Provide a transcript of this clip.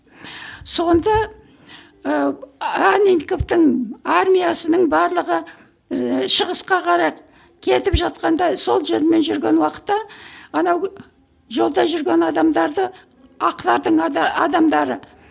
сонда ыыы анненковтің армиясының барлығы ы шығысқа қарай кетіп жатқанда сол жолмен жүрген уақытта анау жолда жүрген адамдарды ақтардың адамдары